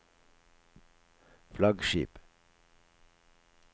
flaggskip